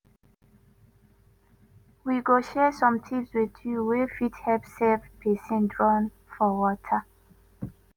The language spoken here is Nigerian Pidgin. we go share some tips wit you wey fit help save pesin wey drown for water.